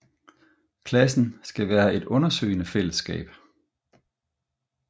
Klassen skal være et undersøgende fællesskab